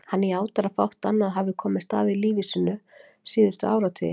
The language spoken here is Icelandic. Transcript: Hann játar að fátt annað hafi komist að í lífi sínu síðustu áratugi.